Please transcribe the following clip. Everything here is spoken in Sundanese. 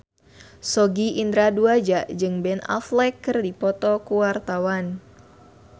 Sogi Indra Duaja jeung Ben Affleck keur dipoto ku wartawan